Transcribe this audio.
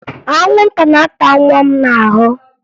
Anwụnta na-ata nwa m n'ahụ